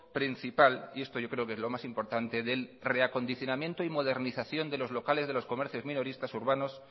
principal y esto yo creo que es lo más importante del reacondicionamiento y modernización de los locales de los comercios minoristas urbanos